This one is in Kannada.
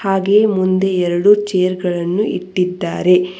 ಹಾಗೆ ಮುಂದೆ ಎರಡು ಚೇರ್ ಗಳನ್ನು ಇಟ್ಟಿದ್ದಾರೆ.